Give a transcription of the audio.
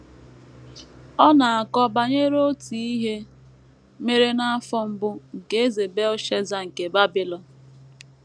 Ọ na - akọ banyere otu ihe mere n’afọ mbụ nke Eze Belshaza nke Babilọn.